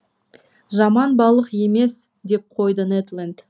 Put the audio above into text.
жаман балық емес деп қойды нед ленд